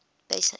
base units